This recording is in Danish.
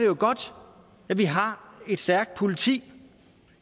jo godt at vi har et stærkt politi